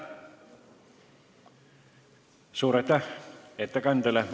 Suur aitäh ettekandjale!